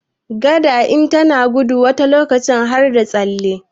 Gada in tana gudu wani lokaci har da tsalle